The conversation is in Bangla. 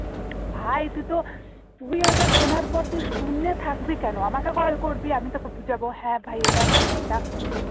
ভাই তুই তো তুই ওটা শোনার পর তুই শুনে থাকবি কেন আমাকে কল করবি আমি তোকে বুঝাবো হ্যাঁ ভাই এটার মানে এটা